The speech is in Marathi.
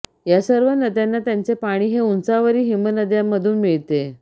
या सर्व नद्यांना त्यांचे पाणी हे उंचावरील हिमनद्यांमधून मिळते